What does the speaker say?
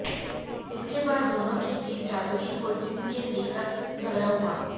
इसके बाद दोनों के बीच जादूई ख़ुरजीन के लेकर झगड़ा हुआ